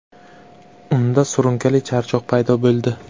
Unda surunkali charchoq paydo bo‘ldi.